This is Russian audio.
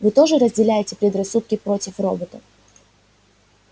вы тоже разделяете предрассудки против роботов